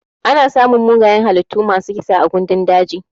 Ana samun mugayen halittu masu kisa a gandun daji.